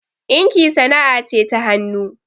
ɗinki sana'ce ta hanuu